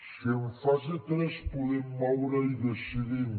si en fase tres ho poden moure i decidim